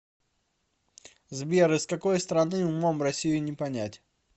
сбер из какой страны умом россию не понять